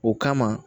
O kama